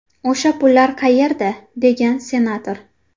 O‘sha pullar qayerda?”, degan senator.